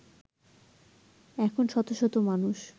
এখন শত শত মানুষ